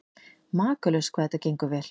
Makalaust hvað þetta gengur vel.